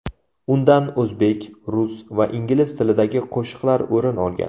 Undan o‘zbek, rus va ingliz tilidagi qo‘shiqlar o‘rin olgan.